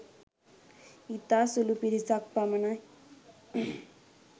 ඉතා සුළු පිරිසක් පමණයි